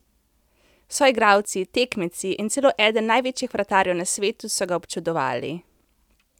Soigralci, tekmeci in celo eden največjih vratarjev na svetu so ga občudovali.